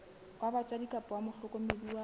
wa batswadi kapa mohlokomedi wa